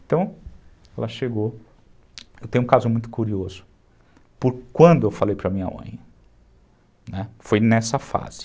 então, ela chegou, eu tenho um caso muito curioso, por ... quando eu falei para minha mãe foi nessa fase